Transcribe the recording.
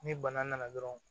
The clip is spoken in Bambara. Ni bana nana dɔrɔn